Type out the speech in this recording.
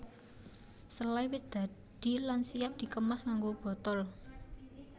Selai wis dadi lan siap dikemas nganggo botol